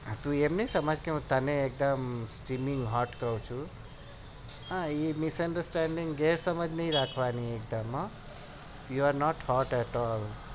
એમ નહિ સમજ કે હું તને એકદમ એવી misunderstanding ગેરસમજ નહિ રાખવાની